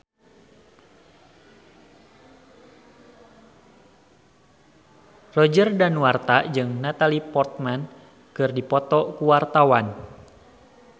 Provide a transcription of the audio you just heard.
Roger Danuarta jeung Natalie Portman keur dipoto ku wartawan